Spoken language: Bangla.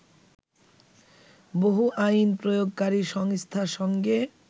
বহু আইন প্রয়োগকারী সংস্থার সঙ্গে